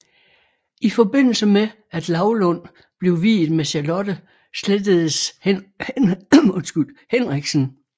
I forbindelse med at Laulund blev viet med Charlotte slettedes Henriksen